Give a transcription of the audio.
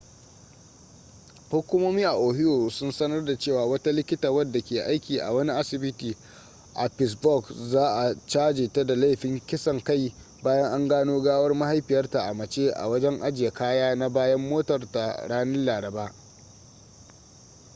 hukumomi a ohio sun sanar da cewa wata likita wadda ke aiki a wani asibiti a pittsburg za'a caje ta da laifin kisan kai bayan an gano gawar mahaifiyarta a mace a wajen ajiye kaya na bayan motar ta ranar laraba